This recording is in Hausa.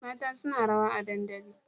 Mata suna rawa a dadandali